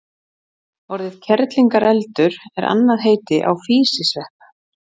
orðið kerlingareldur er annað heiti á físisvepp